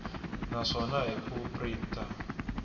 na swona hi ku printa